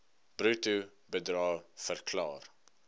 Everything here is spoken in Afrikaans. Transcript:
bruto bedrae verklaar